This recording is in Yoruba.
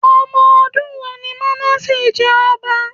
Omodun wo ni Mánásè jẹ ọba?